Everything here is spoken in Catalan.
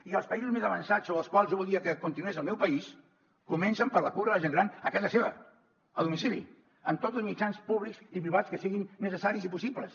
i els països més avançats sobre els quals jo voldria que continués el meu país comencen per la cura de la gent gran a casa seva a domicili amb tots els mitjans públics i privats que siguin necessaris i possibles